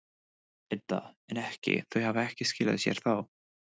Edda: En ekki, þau hafa ekki skilað sér þá?